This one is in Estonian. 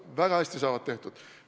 Väga hästi saavad tehtud.